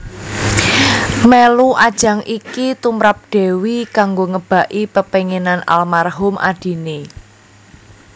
Mèlu ajang iki tumrap Dewi kanggo ngebaki pepénginan almarhum adiné